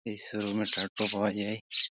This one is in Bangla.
এই শোরুম -এ টাটকা পাওয়া যায়।